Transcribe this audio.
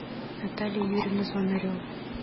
наталья юрьевна звонарева